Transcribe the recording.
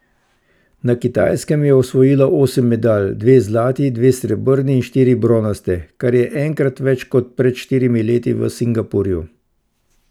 Na Kitajskem je osvojila osem medalj, dve zlati, dve srebrni in štiri bronaste, kar je enkrat več kot pred štirimi leti v Singapurju.